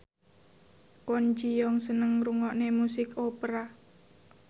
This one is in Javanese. Kwon Ji Yong seneng ngrungokne musik opera